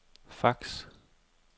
fax